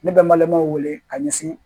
Ne bɛ malimaaw wele ka ɲɛsin